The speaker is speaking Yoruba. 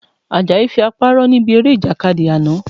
Àjàyí fi apá rọ́ níbi eré Ìjàkadì àná